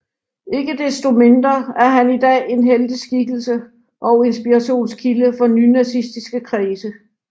Ikke desto mindre er han i dag en helteskikkelse og inspirationskilde for nynazistiske kredse